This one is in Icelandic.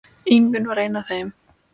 Ingunn var ein af þeim.